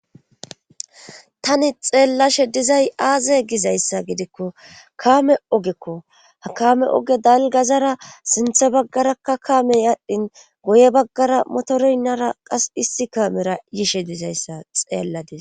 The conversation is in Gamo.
tani xeellashe dizay aaze gizayssa gidikko kaame ogekko hakame oge dalgazara sinthe baggarakka kaamey adhdhin goye baggara motorynnara qas issi kaamera yishe dizayssa xeelladis